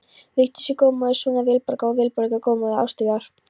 Vigdís er guðmóðir sonar Vilborgar, og Vilborg er guðmóðir Ástríðar.